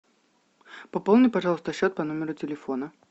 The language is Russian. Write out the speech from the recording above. пополни пожалуйста счет по номеру телефона